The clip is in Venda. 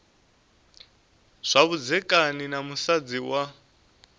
zwa vhudzekani na musadzi wa